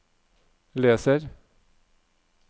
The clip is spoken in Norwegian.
leser